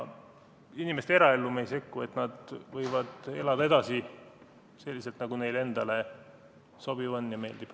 Inimeste eraellu me ei sekku, nad võivad elada edasi selliselt, nagu neile endale sobiv on ja meeldib.